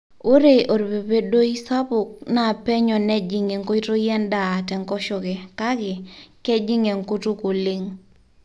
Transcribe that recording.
ore orpepedoi sapuk naa penyo nejing enkoitoi endaa tenkoshoke kake kejing enkutuk oleng